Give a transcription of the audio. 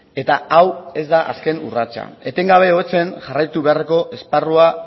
eta hau ez da azken urratsa etengabe hobetzen jarraitu beharreko esparrua